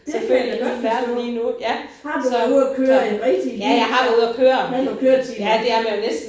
Det kan jeg da godt forstå. Har du været ude at køre en rigtig bil så? Har man køretimer?